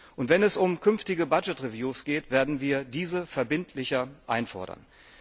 Und wenn es um künftige Budget Reviews geht, werden wir diese verbindlicher einfordern.